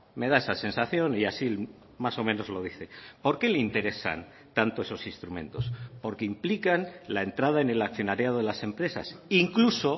me da esa sensación y así más o menos lo dice por qué le interesan tanto esos instrumentos porque implican la entrada en el accionariado de las empresas incluso